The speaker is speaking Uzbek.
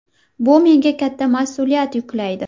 Bu menga katta mas’uliyat yuklaydi”.